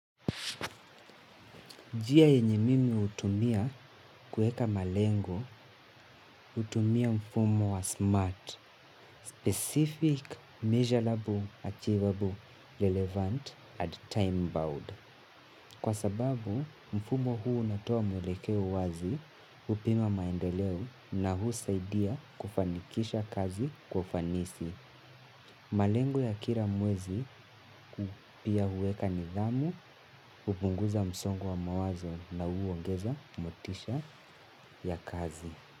Njia yenye mimi hutumia kuweka malengo. Hutumia mfumo wa smart, specific, measurable, achievable, relevant, and time bound. Kwa sababu mfumo huu unatoa mwelekeo wazi kupima maendeleo na husaidia kufanikisha kazi kwa ufanisi. Malengo ya kila muwezi pia huweka nidhamu, hupunguza msongo wa mawazo na huongeza motisha ya kazi.